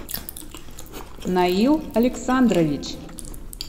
наил александрович